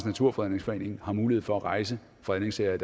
naturfredningsforening har mulighed for at rejse fredningssager i